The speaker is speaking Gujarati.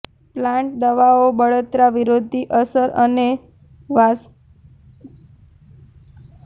પ્લાન્ટ દવાઓ બળતરા વિરોધી અસર અને વાસકોન્ક્ટીવ અસર છે